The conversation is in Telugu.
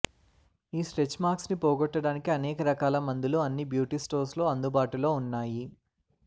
ఈ స్ట్రెచ్ మార్క్స్ ని పోగొట్టడానికి అనేకరకాల మందులు అన్ని బ్యూటీ స్టోర్స్ లో అందుబాటులో వున్నాయి